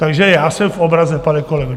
Takže já jsem v obraze, pane kolego.